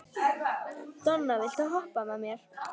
Donna, viltu hoppa með mér?